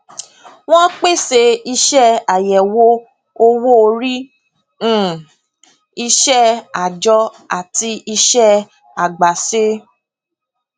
wón pèsè iṣẹ àyẹwò owó orí um iṣẹ àjọ àti iṣẹ àgbàṣe